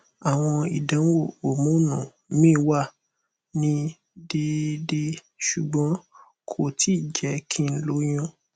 awọn idanwo homonu mi wa ni deede ṣugbọn ko ti jẹ ki n loyun